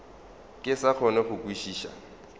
ke sa kgone go kwešiša